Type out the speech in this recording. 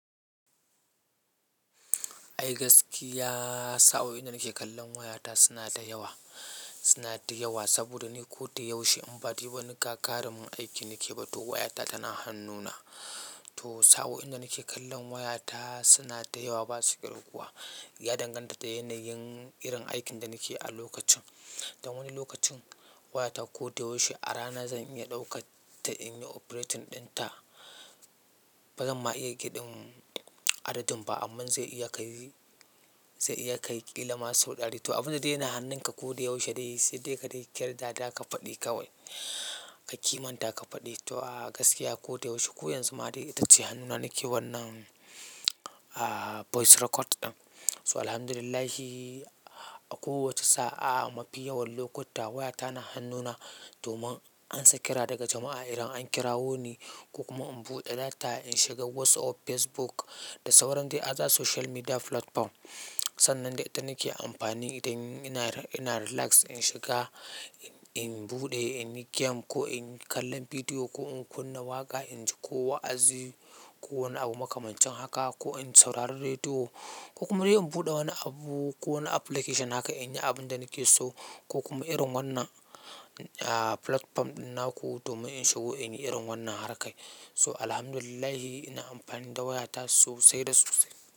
Ai gaskiya, sa'o'in da nake kallon wayata suna da yawa. Suna da yawa saboda ni ko ta yaushe in ba yi wani gagarumin aiki nake ba, to wayata tana hannuna. To sa'o'in da nake kallon wayata suna da yawa ba su kirguwa kuwa. Ya danganta da yanayin irin aikin da nake a lokacin. Da wani lokacin wayata ko ta yaushe a rana zan iya ɗauka ta in yi operating ɗinta. Ba zan ma iya ƙidin adadin ba, amma zai iya kai, zai iya kai qila ma sau ɗari. To abin da yana hannunka ko ta yaushe dai sai dai ka kirtata ka faɗi kawai ka kimanta ka faɗi. To gaskiya ko ta yaushe koyaushe ma dai ita ce hannuna nake wannan ah voice record ɗin. So Alhamdulillah, a kowace sa'a a mafi yawan lokuta wayata na hannuna domin an sa kira daga jama'a idan an kirawo ni ko kuma in buɗe data in shiga WhatsApp, Facebook da sauran dai other social media platform. Sannan dai ita nake amfani idan ina, ina relax in shiga, in buɗe, in yi game ko in kalla bidiyo ko in kunna waƙa, inji ko wa'azi ko wani abu makamancin haka ko in saurari rediyo ko kuma dai in buɗe wani abu ko wani application haka in yi abin da nake so ko kuma irin wannan, ah, platform ɗin naku domin in shigo in yi irin wannan harkai. So Alhamdulillah ina amfani da wayata sosai da sosai.